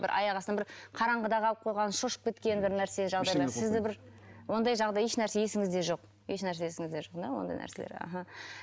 бір аяқ астынан бір қараңғыда қалып қойған шошып кеткен бір нәрсе жағдайлар сізді бір ондай жағдай ешнәрсе есіңізде жоқ ешнәрсе есіңізде жоқ да ондай нәрселер аха